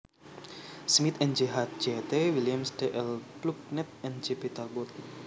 Smith N J H J T Williams D L Plucknett and J P Talbot